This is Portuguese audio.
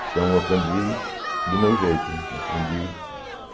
Então eu aprendi do meu jeito. Aprendi